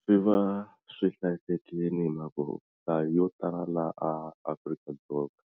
Swi va swi hlayisekile hi mhaka ku nhlayo yo tala laha Afrika-Dzonga